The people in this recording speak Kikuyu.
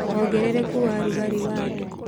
wongerereku wa rugarĩ wa thĩ